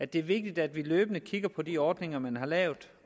det er vigtigt at vi løbende kigger på de ordninger man har lavet